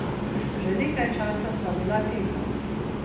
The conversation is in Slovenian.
Že nekaj časa sva bila tiho.